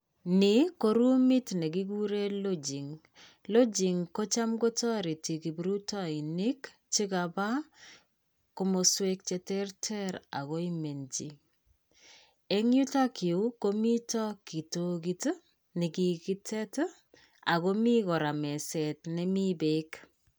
Nii ko roomit nekikuree Lodging. Lodging ko chamko toreti kipruitoinik chekapaa komoswek che terter agoimenchi. Eng' yutok yu komito kitokit, nekikitet, agomi kora meset nemi beek.